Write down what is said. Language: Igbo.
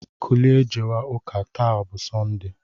Kulie jewe ụka, taa bụ sọnde!